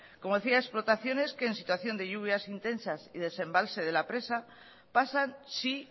como decía explotaciones que en situación de lluvias intensas y desembalse de la presa pasan sí